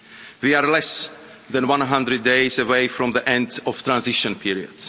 We are less than 100 days away from the end of the transition period.